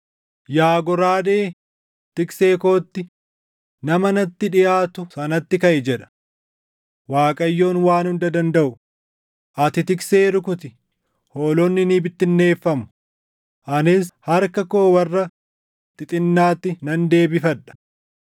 “Yaa goraadee, tiksee kootti, nama natti dhiʼaatu sanatti kaʼi!” jedha Waaqayyoon Waan Hunda Dandaʼu. “Ati tiksee rukuti; hoolonni ni bittinneeffamu; anis harka koo warra xixinnaatti nan deebifadha.